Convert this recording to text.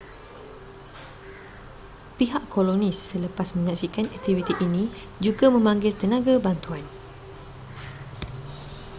pihak kolonis selepas menyaksikan aktiviti ini juga memanggil tenaga bantuan